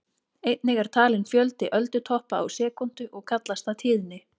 Einnig er talinn fjöldi öldutoppa á sekúndu og kallast það tíðni.